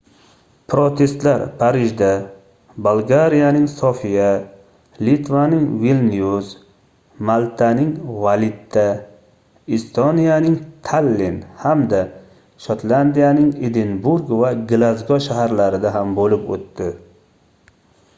protestlar parijda bolgariyaning sofiya litvaning vilnyus maltaning valetta estoniyaning tallin hamda shotlandiyaning edinburg va glazgo shaharlarida ham boʻlib oʻtdi